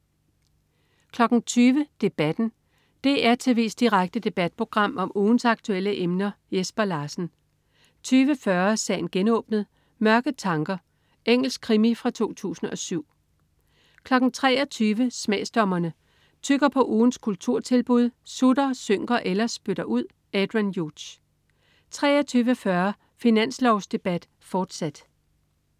20.00 Debatten. DR tv's direkte debatprogram om ugens aktuelle emner. Jesper Larsen 20.40 Sagen genåbnet: Mørke tanker. Engelsk krimi fra 2007 23.00 Smagsdommerne. Tygger på ugens kulturtilbud, sutter, synker eller spytter ud. Adrian Hughes 23.40 Finanslovsdebat, fortsat